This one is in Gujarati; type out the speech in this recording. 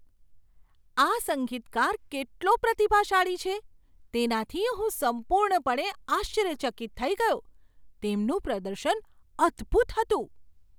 આ સંગીતકાર કેટલો પ્રતિભાશાળી છે, તેનાથી હું સંપૂર્ણપણે આશ્ચર્યચકિત થઈ ગયો. તેમનું પ્રદર્શન અદભૂત હતું.